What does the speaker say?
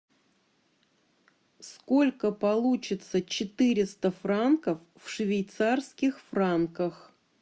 сколько получится четыреста франков в швейцарских франках